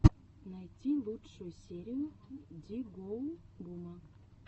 найти лучшую серию ди гоу бума